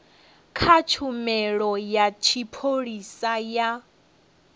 kha tshumelo ya tshipholisa ya